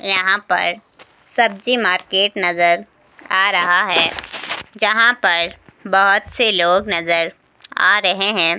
यहां पर सब्जी मार्केट नजर आ रहा है यहां पर बहुत से लोग नजर आ रहे हैं।